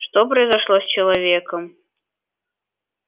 что произошло с человеком